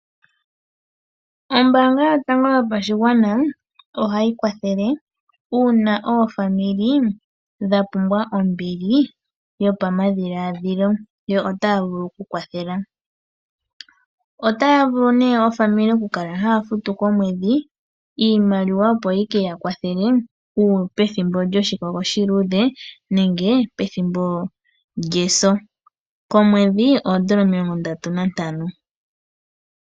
Ombaanga yotango yopashigwana oha yi kwathele uuna oofamili dhapumbwa ombili yopama dhilaadhilo, yo otaya vulu oku kwathela. Otaya vulu nee ofamili oku kala haya futu komwedhi iimaliwa, opo yi keya kwathele pethimbo djoshi kogo oshiluudhe, nenge pethimbo djeso. Komwedhi oodola omilongo ndatu na ntano.